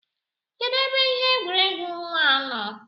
Kedu ebe ihe egwuregwu nwa nọ?